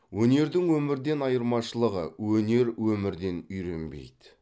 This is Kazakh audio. өнердің өмірден айырмашылығы өнер өмірден үйренбейді